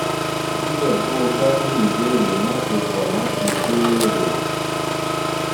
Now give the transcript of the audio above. síbẹ̀ bó o bá ní ìbéèrè má ṣe kọ̀ láti béèrè